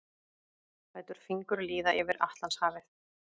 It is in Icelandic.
Lætur fingur líða yfir Atlantshafið.